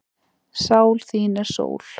Sál þín er sól.